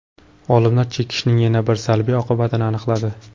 Olimlar chekishning yana bir salbiy oqibatini aniqladi.